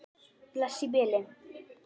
Bless í bili.